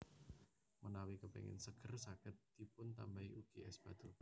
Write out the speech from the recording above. Menawi kepéngin seger saged dipuntambahi ugi és batu